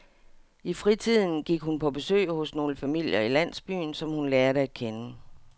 I fritiden gik hun på besøg hos nogle familier i landsbyen, som hun lærte at kende.